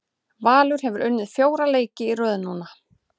Valur hefur unnið fjóra leiki í röð núna.